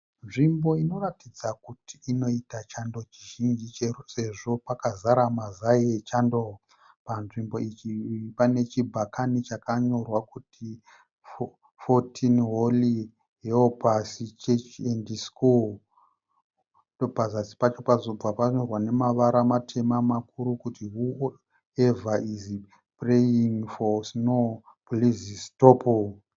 Nzvimbo inoratidza kuti inoita chando chizhinji chero sezvo kwakazara mazai echando. Panzvimbo iyi pane chibhakani chakanyorwa kuti Fourteen Holy Helpers Church and School. Pazasi pacho pozobva panyorwa nemavara matema makuru kuti WHOEVER IS PRAYING FOR SNOW PLEASE STOP.